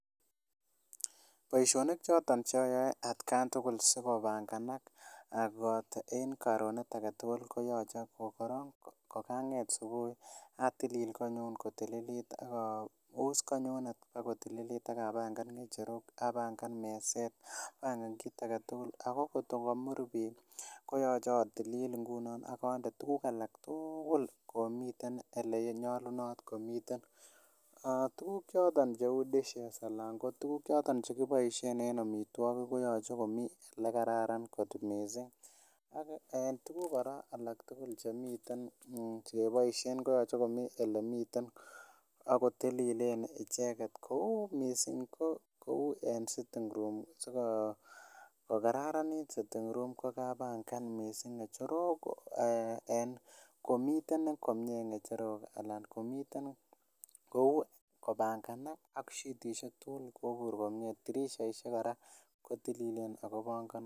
Baishonik choton ayae atkai tugul asikopanganak koboto karonet agetugul koyoche koganget subuhi atilil konyun kotililit akaus konyun kotililit akapangan ngecherok akapangan meset kiit agetugul ak kot ko kamur bii koyache atilil igunon agonde tukuk tugul komiten olenyalunat komiten aah tuguk choton Che u dishes anan kotuguk chekipoishen en amitwakik koyoche komii oleyache komiten en tukuk kora Che yache keboishen ko yoche komiite akotililit icheget kou missing ko kamii siting room sikokararanit sitting room kokapangan missing ngecherok en komiten komie ngecherok anan komiten kopanganak sitisiek tugul koibur kotililen kota tirishok ak kobanganotik